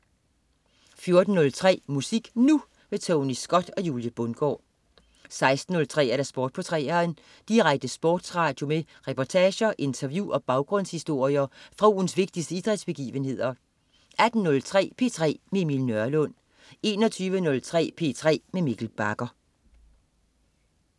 14.03 Musik Nu! Tony Scott og Julie Bundgaard 16.03 Sport på 3'eren. Direkte sportsradio med reportager, interview og baggrundshistorier fra ugens vigtigste idrætsbegivenheder 18.03 P3 med Emil Nørlund 21.03 P3 med Mikkel Bagger